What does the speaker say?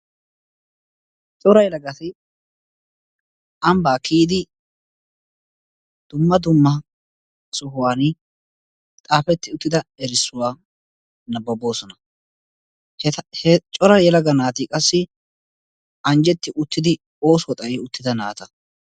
Cora yelagatti ambba kiydi dumma dumma sohuwaan xaafeti uttida erssuwaa nababossona. Cora yelagatti qassi anjetti uttidi oosuwaa xayi uttida naata.